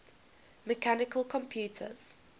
mechanical computers